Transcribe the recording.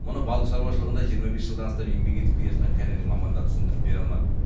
мұны балық шаруашылығында жиырма бес жылдан астам еңбек етіп келе жатқан кәнігі маман да түсіндіріп бере алмады